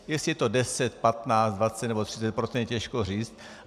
Jestli je to 10, 15, 20 nebo 30 %, těžko říct.